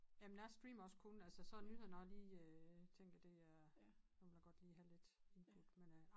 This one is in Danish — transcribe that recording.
Jamen jeg streamer også kun altså så nyhederne når jeg lige øh tænker det er nu vil jeg godt lige have lidt input men øh